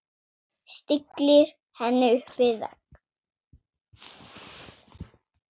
Stillir henni upp við vegg.